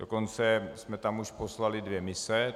Dokonce jsme tam už poslali dvě mise.